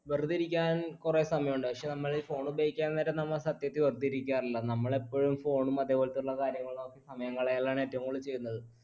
വെറുതെ ഇരിക്കാൻ കുറേ സമയം ഉണ്ട് പക്ഷേ നമ്മൾ phone ഉപയോഗിക്കാൻ നേരം നമ്മൾ സത്യത്തിൽ വെറുതെയിരിക്കാറില്ല, നമ്മൾ എപ്പഴും phone ഉം അതേപോലെതുള്ള കാര്യങ്ങളും നോക്കി സമയം കളയലാണ് ഏറ്റവും കൂടുതൽ ചെയ്യുന്നത്